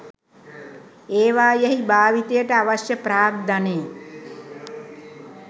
ඒවායෙහි භාවිතයට අවශ්‍යය ප්‍රාග්ධනය